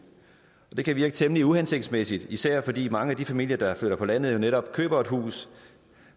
det kan virke temmelig uhensigtsmæssigt især fordi mange af de familier der flytter på landet netop køber et hus